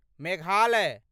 Meghalaya